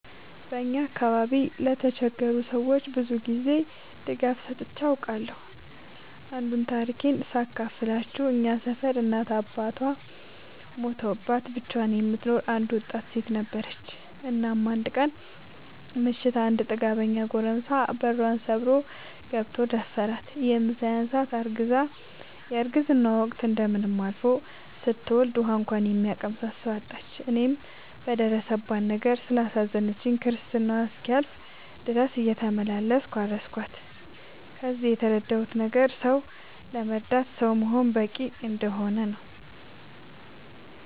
በአካባቢዬ ለተቸገሩ ሰዎች ብዙ ጊዜ ድጋፍ ሰጥቼ አውቃለሁ። አንዱን ታሪኬን ሳካፍላችሁ እኛ ሰፈር እናት እና አባቷ ሞተውባት ብቻዋን የምትኖር አንድ ወጣት ሴት ነበረች። እናም አንድ ቀን ምሽት አንድ ጥጋበኛ ጎረምሳ በሯን ሰብሮ ገብቶ ደፈራት። ይህም ሳያንሳት አርግዛ የረግዝናዋ ወቅት እንደምንም አልፎ ስትወልድ ውሀ እንኳን የሚያቀምሳት ሰው አጣች። እኔም በደረሰባት ነገር ስላሳዘነችኝ ክርስትናዋ እስኪያልፍ ድረስ እየተመላለስኩ አረስኳት። ከዚህ የተረዳሁት ነገር ሰው ለመርዳት ሰው መሆን በቂ እንደሆነ ነው።